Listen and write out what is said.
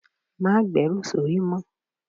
Má gberu sórí mó.